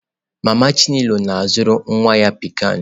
Mama chinelo na-azụrụ nwa ya pikan.